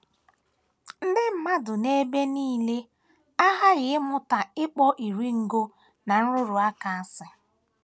Ndị mmadụ n’ebe nile aghaghị ịmụta ịkpọ iri ngo na nrụrụ aka asị.